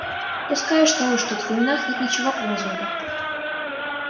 пускай что уж тут в именах нет ничего кроме звука